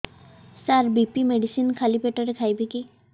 ସାର BP medicine ଖାଲି ପେଟରେ ଖାଇବି କି